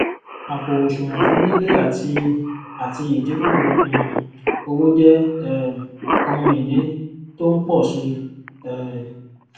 àpò òsùwòn fún lílé àti àti ìdíkù um owó jé um ohun ìní tó n pò si um